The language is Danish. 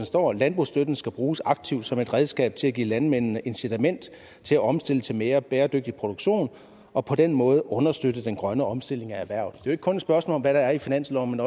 står at landbrugsstøtten skal bruges aktivt som et redskab til at give landmændene incitament til at omstille til mere bæredygtig produktion og på den måde understøtte den grønne omstilling af erhvervet det er kun et spørgsmål om hvad der er i finansloven